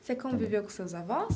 Você conviveu com seus avós?